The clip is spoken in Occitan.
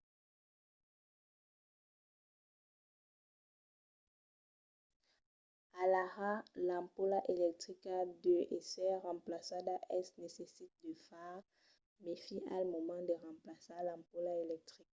alara l'ampola electrica deu èsser remplaçada. es necite de far mèfi al moment de remplaçar l'ampola electrica